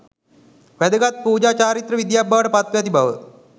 වැදගත් පූජා චාරිත්‍ර විධියක් බවට පත්ව ඇති බව,